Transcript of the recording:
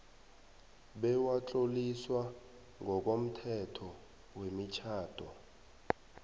bewatloliswa ngokomthetho wemitjhado